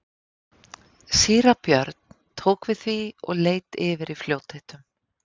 Síra Björn tók við því og leit yfir í fljótheitum.